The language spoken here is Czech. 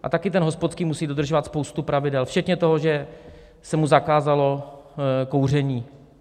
A taky ten hospodský musí dodržovat spoustu pravidel včetně toho, že se mu zakázalo kouření.